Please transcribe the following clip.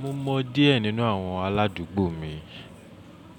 Mo mọ díẹ̀ nínú àwọn aládùúgbò mi,